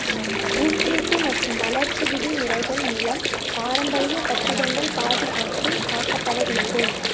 ஊக்குவிப்பு மற்றும் வளர்ச்சி விதிமுறைகள் மூலம் பாரம்பரிய கட்டிடங்கள் பாதுகாத்து காக்கப்பட வேண்டும்